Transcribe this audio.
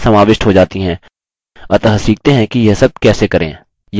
और जब file save हो जाती है टिप्पणियाँ समाविष्ट हो जाती हैं